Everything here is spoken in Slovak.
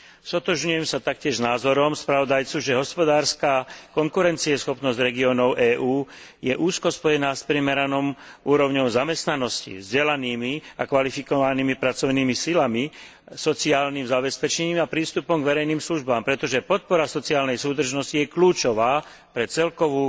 Stotožňujem sa taktiež s názorom spravodajcu, že hospodárska konkurencieschopnosť regiónov EÚ je úzko spojená s primeranou úrovňou zamestnanosti, vzdelanými a kvalifikovanými pracovnými silami, sociálnym zabezpečením a prístupom k verejným službám, pretože podpora sociálnej súdržnosti je kľúčová pre celkovú